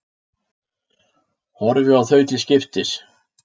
Horfi á þau til skiptis.